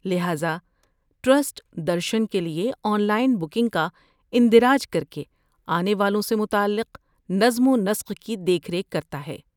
لہذا ٹرسٹ درشن کے لئے آن لائن بکنگ کا اندراج کر کے آنے والوں سے متعلق نظم و نسق کی دیکھ ریکھ کرتا ہے۔